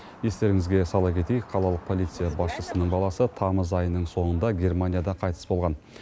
естеріңізге сала кетейік қалалық полиция басшысының баласы тамыз айының соңында германияда қайтыс болған